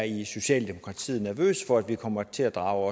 i socialdemokratiet er nervøse for at vi kommer til at drage